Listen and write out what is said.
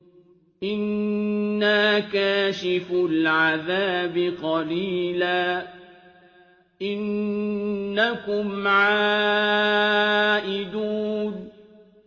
إِنَّا كَاشِفُو الْعَذَابِ قَلِيلًا ۚ إِنَّكُمْ عَائِدُونَ